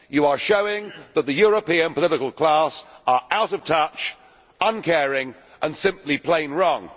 You are showing that the European political class are out of touch, uncaring and simply plain wrong.